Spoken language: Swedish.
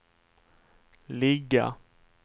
ligga